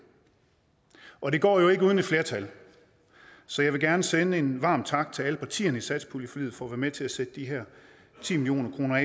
og det går jo ikke uden et flertal så jeg vil gerne sende en varm tak til alle partierne i satspuljeforliget for at være med til at sætte de her ti million kroner